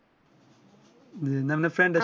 না না ফ্রেডে